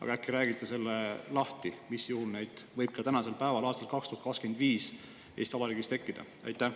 Aga äkki räägite selle lahti, mis juhul neid võib ka aastal 2025 Eesti Vabariigis tekkida?